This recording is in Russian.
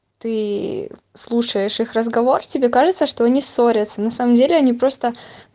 ты слушаешь их разговор тебе кажется что они ссорятся на самом деле они просто